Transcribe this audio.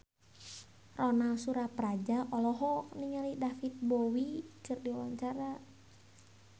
Ronal Surapradja olohok ningali David Bowie keur diwawancara